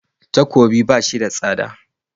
Takobi ba shi da tsada.